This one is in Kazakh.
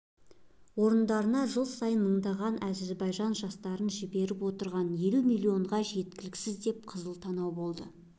орындарына жыл сайын мыңдаған әзербайжан жастарын жіберіп отырған елу миллионға жеткіземіз деп қызыл танау болды